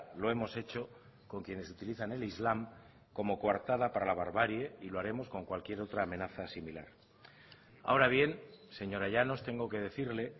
lo hemos hecho con quienes utilizan el islam como coartada para la barbarie y lo haremos con cualquier otra amenaza similar ahora bien señora llanos tengo que decirle